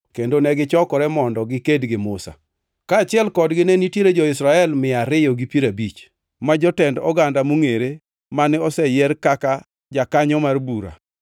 kendo negichokore mondo giked gi Musa. Kaachiel kodgi ne nitiere jo-Israel mia ariyo gi piero abich, ma jotend oganda mongʼere mane oseyier kaka jakanyo mar bura.